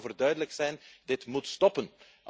We moeten daarover duidelijk zijn. Dit moet stoppen!